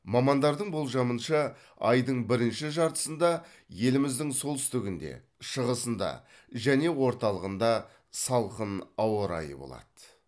мамандардың болжамынша айдың бірінші жартысында еліміздің солтүстігінде шығысында және орталығында салқын ауа райы болады